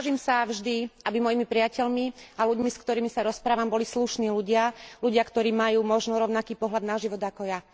Snažím sa vždy, aby mojimi priateľmi a ľuďmi, s ktorými sa rozprávam, boli slušní ľudia ľudia, ktorí majú možno rovnaký pohľad na život ako ja.